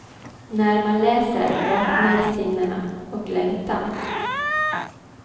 När man läser vaknar sinnena, och längtan.